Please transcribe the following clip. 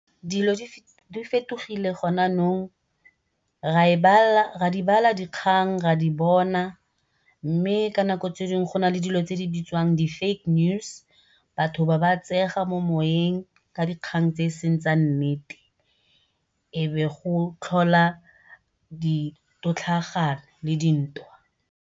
Dilo di fetogile gone yanong ra di bala dikgang ra di bona, mme ka nako tse dingwe go nale dilo tse di bitswang di-fake news batho be ba tseega mo moweng ka dikgang tse e seng tsa nnete e be go tlhola ditotlhagano le dintwa.